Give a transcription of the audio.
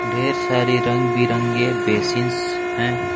ढेर सारी रंग बिरंगे बेसिंस हैं।